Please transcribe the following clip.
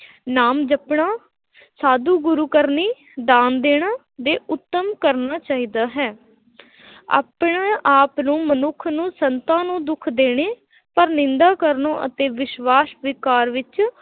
ਨਾਮ ਜਪਣਾ ਸਾਧੂ ਗੁਰੂ ਕਰਨੀ, ਦਾਨ ਦੇਣਾ ਦੇ ਉੱਤਮ ਕਰਨਾ ਚਾਹੀਦਾ ਹੈ ਆਪਣੇ ਆਪ ਨੂੰ ਮਨੁੱਖ ਨੂੰ ਸੰਤਾਂ ਨੂੰ ਦੁੱਖ ਦੇਣੇ ਪਰ ਨਿੰਦਾ ਕਰਨਾ ਅਤੇ ਵਿਸ਼ਵਾਸ਼ ਵਿਕਾਰ ਵਿੱਚ